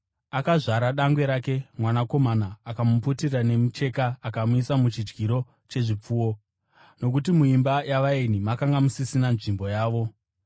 akazvara dangwe rake, mwanakomana. Akamuputira nemicheka akamuisa muchidyiro chezvipfuwo, nokuti muimba yavaeni makanga musisina nzvimbo yavo.